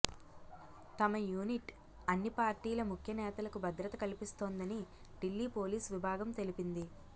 తమ యూనిట్ అన్ని పార్టీల ముఖ్యనేతలకు భద్రత కల్పిస్తోందని ఢిల్లీ పోలీసు విభాగం తెలిపింది